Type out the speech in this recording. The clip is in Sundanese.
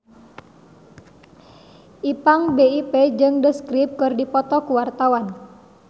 Ipank BIP jeung The Script keur dipoto ku wartawan